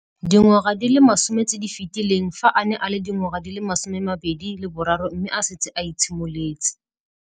Dingwaga di le 10 tse di fetileng, fa a ne a le dingwaga di le 23 mme a setse a itshimoletse.